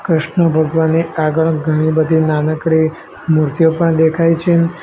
કૃષ્ણ ભગવાનની આગળ ઘણી બધી નાનકડી મૂર્તિઓ પણ દેખાય છે.